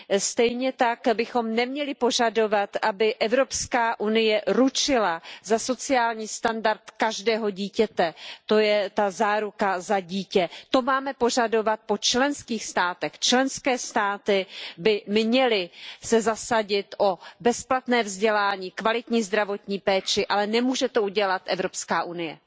Stejně tak bychom neměli požadovat, aby Evropská unie ručila za sociální standard každého dítěte, to je ta záruka za dítě. To máme požadovat po členských státech, členské státy by se měly zasadit o bezplatné vzdělání, kvalitní zdravotní péči, ale nemůže to udělat Evropská unie.